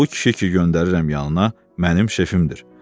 Bu kişi ki, göndərirəm yanına, mənim şefimdir.